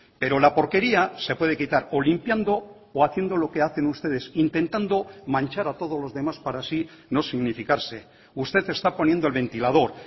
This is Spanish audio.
pero la porquería se puede quitar o limpiando o haciendo lo que hacen ustedes intentando manchar a todos los demás para así no significarse usted está poniendo el ventilador